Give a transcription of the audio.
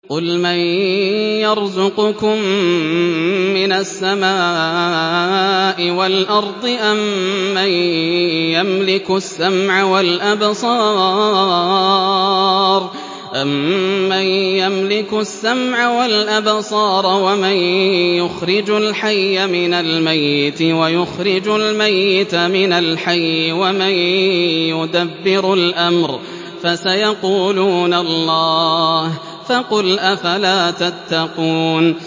قُلْ مَن يَرْزُقُكُم مِّنَ السَّمَاءِ وَالْأَرْضِ أَمَّن يَمْلِكُ السَّمْعَ وَالْأَبْصَارَ وَمَن يُخْرِجُ الْحَيَّ مِنَ الْمَيِّتِ وَيُخْرِجُ الْمَيِّتَ مِنَ الْحَيِّ وَمَن يُدَبِّرُ الْأَمْرَ ۚ فَسَيَقُولُونَ اللَّهُ ۚ فَقُلْ أَفَلَا تَتَّقُونَ